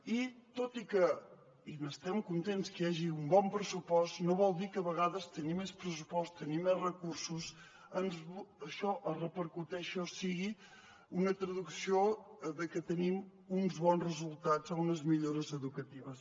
i tot i que i n’estem contents hi hagi un bon pressupost no vol dir que a vegades tenir més pressupost tenir més recursos això repercuteixi o sigui una traducció de que tenim uns bons resultats o unes millores educatives